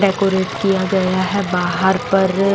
decorate किया गया है बाहर पर--